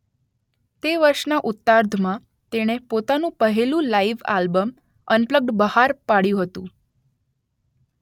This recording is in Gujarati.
તે વર્ષના ઉતાર્ધમાં તેણે પોતાનું પહેલું લાઇવ આલ્બમ અનપ્લગ્ડ બહાર પાડયું હતુ